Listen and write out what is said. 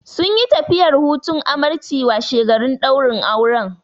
Sunyi tafiyar hutun amarci washegarin ɗaurin auren.